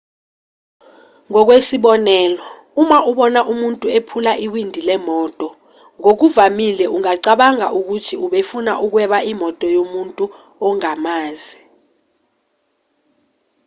ngokwesibonelo uma ubona umuntu ephula iwindi lemoto ngokuvamile ungacabanga ukuthi ubefuna ukweba imoto yomuntu ongamazi